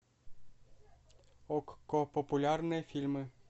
окко популярные фильмы